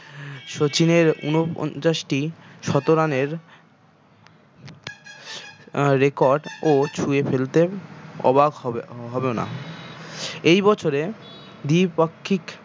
শচীনের ঊনপঞ্চাশটি শত run এর আহ record ও ছুঁয়ে ফেলতে অবাক হবে হহব না এই বছরে দ্বি-পাক্ষিক